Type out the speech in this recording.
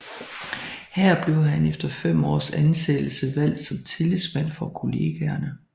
Her blev han efter fem års ansættelse valgt som tillidsmand for kollegaerne